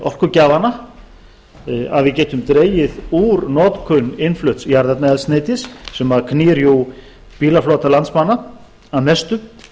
orkugjafana að við getum dregið úr notkun innflutts jarðefnaeldsneytis sem knýr bílaflota landsmanna að mestu